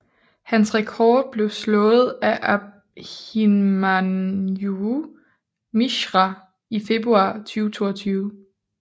Hans rekord blev slået af Abhimanyu Mishra i februar 2022